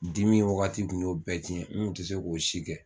Dimi wagati kun y'o bɛɛ cɛn n kun te se k'o si kɛ